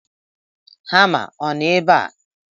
Hama ọ nọ ebe a?